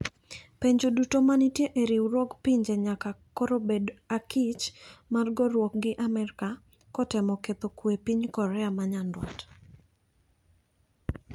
Pinje duto manitie e riwruog pinje nyaka koro bed akich mar goruok gi Amerika kotemo ketho kwe epiny Korea manyandwat.